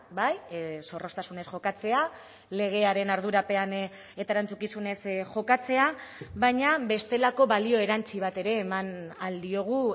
bai zorroztasunez jokatzea legearen ardurapean eta erantzukizunez jokatzea baina bestelako balio erantsi bat ere eman ahal diogu